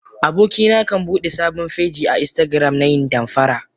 Abokina kan Bude sabon feji a instagram nayin damfara.